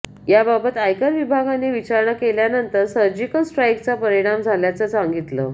याबाबत आयकर विभागाने विचारणा केल्यानंतर सर्जिकल स्ट्राइकचा परिणाम झाल्याचं सांगितलं